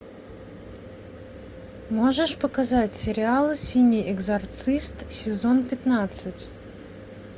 можешь показать сериал синий экзорцист сезон пятнадцать